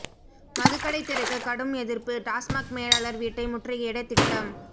மதுக்கடை திறக்க கடும் எதிர்ப்பு டாஸ்மாக் மேலாளர் வீட்டை முற்றுகையிட திட்டம்